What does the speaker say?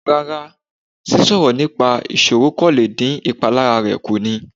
Rá́rá, sísọ̀rọ̀ nípa ìṣoro kan lè dín ìpalára rẹ̀ kù ni.